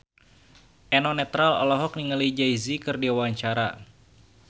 Eno Netral olohok ningali Jay Z keur diwawancara